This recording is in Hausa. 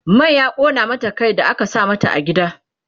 man ya ƙona mata Kai da aka sa mata a gida